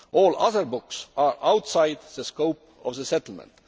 All other books are outside the scope of the settlement.